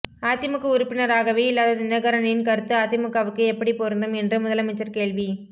அதிமுக உறுப்பினராகவே இல்லாத தினகரனின் கருத்து அதிமுகவுக்கு எப்படி பொருந்தும் என்று முதலமைச்சர் கேள்வி